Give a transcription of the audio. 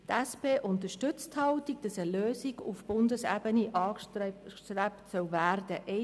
Die SP-JUSOPSA-Fraktion unterstützt die Haltung, wonach auf Bundesebene eine Lösung gesucht werden soll.